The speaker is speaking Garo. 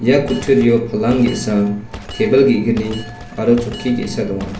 ia kutturio palang ge·sa tebil ge·gni aro chokki ge·sa donga.